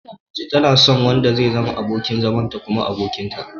Mace tana son wanda zai zama abokin zamanta kuma abokinta.